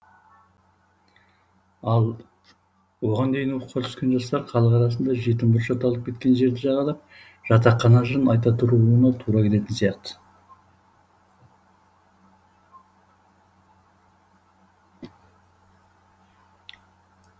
ал оған дейін оқуға түскен жастар халық арасында жетім бұрыш аталып кеткен жерді жағалап жатақхана жырын айта тұруына тура келетін сияқты